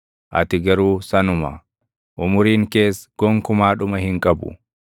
Ati garuu sanuma; umuriin kees gonkumaa dhuma hin qabu.